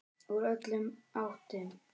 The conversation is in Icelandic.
Úr öllum áttum.